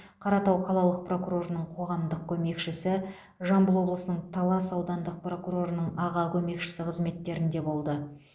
қаратау қалалық прокурорының қоғамдық көмекшісі жамбыл облысының талас аудандық прокурорының аға көмекшісі қызметтерінде болды